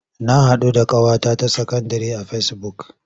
Na haɗu da ƙawata ta sakandire a fesibuk.